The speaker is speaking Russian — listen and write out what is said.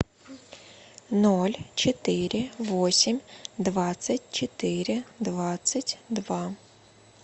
ноль четыре восемь двадцать четыре двадцать два